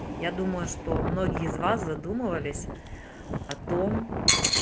я думаю что многие из вас задумывались о том